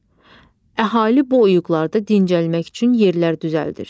Əhali bu oyğuqlarda dincəlmək üçün yerlər düzəldir.